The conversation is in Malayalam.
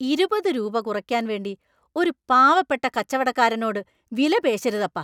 ഇരുപത് രൂപ കുറയ്ക്കാൻ വേണ്ടി ഒരു പാവപ്പെട്ട കച്ചവടക്കാരനോട് വിലപേശരുതപ്പാ.